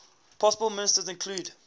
possible ministers included